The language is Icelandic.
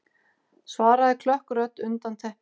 svaraði klökk rödd undan teppinu.